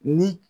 Ni